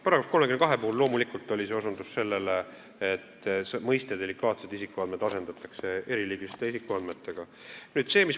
Paragrahvi 32 puhul oli loomulikult osutus sellele, et mõiste "delikaatsed isikuandmed" asendatakse mõistega "eriliigilised isikuandmed".